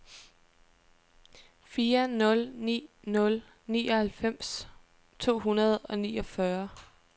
fire nul ni nul nioghalvfems to hundrede og niogfyrre